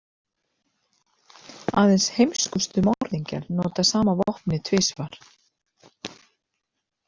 Aðeins heimskustu morðingjar nota sama vopnið tvisvar.